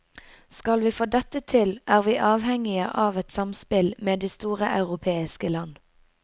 Skal vi få dette til, er vi avhengige av et samspill med de store europeiske land.